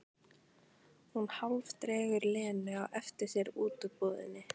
Hún hálfdregur Lenu á eftir sér út úr búðinni.